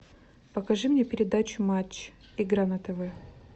покажи мне передачу матч игра на тв